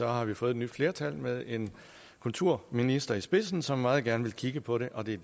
har vi fået et nyt flertal med en kulturminister i spidsen som meget gerne vil kigge på det og det er